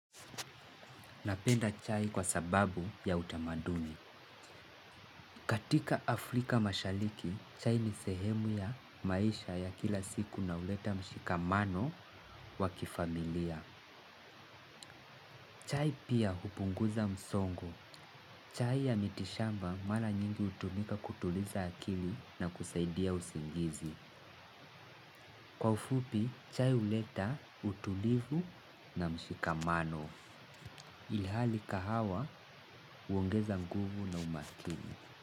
Napenda chai kwa sababu ya utamaduni. Katika Afrika mashariki, chai ni sehemu ya maisha ya kila siku na huleta mshikamano wa kifamilia chai pia hupunguza msongo chai ya miti shamba mara nyingi hutumika kutuliza akili na kusaidia usingizi kwa ufupi, chai huleta, utulivu na mshikamano ilhali kahawa huongeza nguvu na umakini.